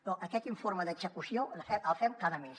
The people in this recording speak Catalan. però aquest informe d’execució el fem cada mes